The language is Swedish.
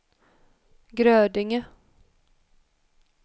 Grödinge